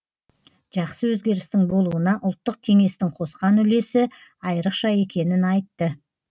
жақсы өзгерістің болуына ұлттық кеңестің қосқан үлесі айрықша екенін айтты